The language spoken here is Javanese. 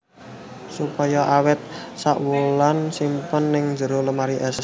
Supaya awet sak wulan simpen ng jero lemari es